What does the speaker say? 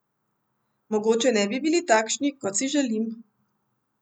Mogoče ne bi bili takšni, kot si želim.